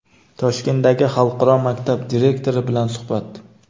Toshkentdagi xalqaro maktab direktori bilan suhbat.